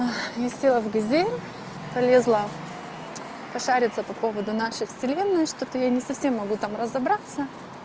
я села в газель полезла пошариться по поводу нашей вселенной что-то я не совсем могу там разобраться